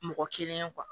Mɔgɔ kelen